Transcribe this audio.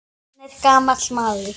Hann er gamall maður.